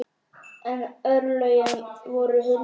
En örlögin voru Huldu erfið.